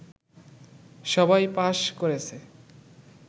সবাই পাস করেছে